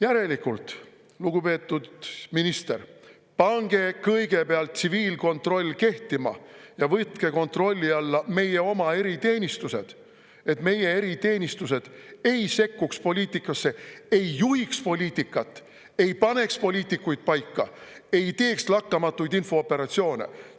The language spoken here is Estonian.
Järelikult, lugupeetud minister, pange kõigepealt tsiviilkontroll kehtima ja võtke kontrolli alla meie oma eriteenistused, et meie eriteenistused ei sekkuks poliitikasse, ei juhiks poliitikat, ei paneks poliitikuid paika ega teeks lakkamatuid infooperatsioone.